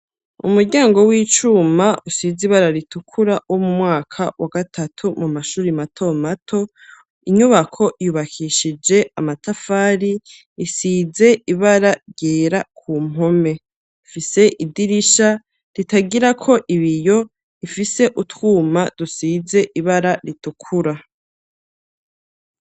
Umuryango w'icuma usize ibara ritukura wo mu mwaka wa gatatu mu mashure mato mato. Inyubako yubakishije amatafari, isize ibara ryera ku mpome, ifise idirisha ritagirako ibiyo, ifise utwuma dusize ibara ritukura.